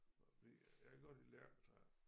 For fordi jeg kan godt lide lærketræer